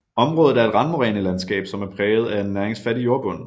Området er et randmorænelandskab som er præget af en næringsfattig jordbund